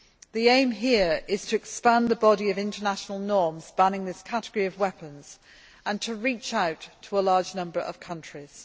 The aim here is to expand the body of international norms spanning this category of weapons and to reach out to a large number of countries.